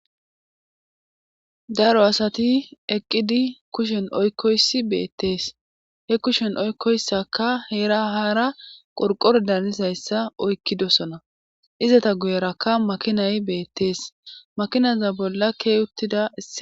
Daro asati eqqidi kushen oykkoysi beettees he kushen oykkoyssaka heera haara qorqore danizayssa oykkidosona izata guyerakka makinay beettees makinaza bolla ke uttida.